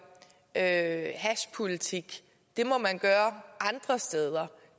at hashpolitik må man gøre andre steder